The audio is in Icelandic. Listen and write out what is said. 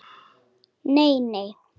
Nei nei.